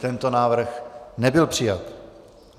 Tento návrh nebyl přijat.